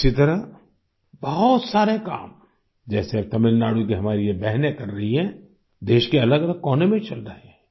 इसी तरह बहुत सारे काम जैसे तमिलनाडु की हमारी ये बहनें कर रही हैं देश के अलग अलग कोने में चल रहे हैं